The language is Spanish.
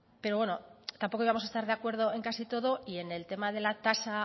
pero bueno tampoco íbamos a estar de acuerdo en casi todo y en el tema de la tasa